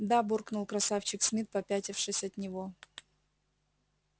да буркнул красавчик смит попятившись от него